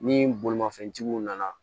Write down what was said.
Ni bolimafɛntigiw nana